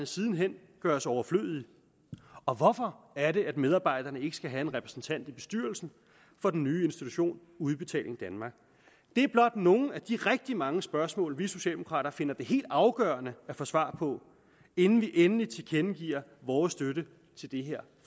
siden hen gøres overflødige og hvorfor er det at medarbejderne ikke skal have en repræsentant i bestyrelsen for den nye institution udbetaling danmark det er blot nogle af de rigtig mange spørgsmål vi socialdemokrater finder det helt afgørende at få svar på inden vi endeligt tilkendegiver vores støtte til det her